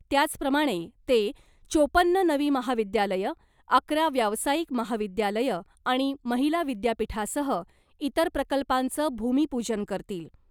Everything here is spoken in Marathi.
त्याचप्रमाणे, ते चोपन्न नवी महाविद्यालयं , अकरा व्यावसायिक महाविद्यालयं आणि महिला विद्यापीठासह इतर प्रकल्पांचं भूमिपूजन करतील .